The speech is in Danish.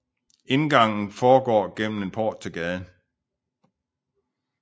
Indgangen foregår igennem en port til gaden